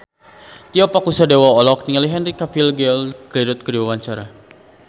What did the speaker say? Tio Pakusadewo olohok ningali Henry Cavill Gal Gadot keur diwawancara